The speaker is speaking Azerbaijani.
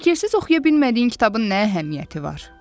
Şəkilsiz oxuya bilmədiyin kitabın nə əhəmiyyəti var?